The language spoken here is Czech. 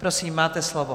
Prosím, máte slovo.